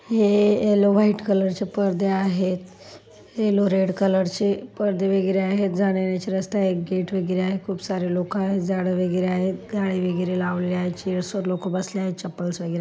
ये yellow white कलरचे पडदे आहेत येलो रेड कलरचे पडदे वगैरे आहे जाण्या येण्याचे रस्ते आहेत एक गेट वगैरे आहे खूप सारे लोक आहेत झाड वगैरे आहेत जाळी वगैरे लावलेले आहेत चअर्स वर लोक बसले आहेत चप्पल वगैरे आहेत